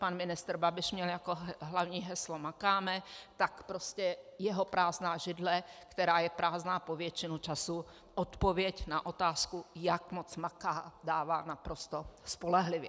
Pan ministr Babiš měl jako hlavní heslo "makáme", tak prostě jeho prázdná židle, která je prázdná po většinu času, odpověď na otázku, jak moc maká, dává naprosto spolehlivě.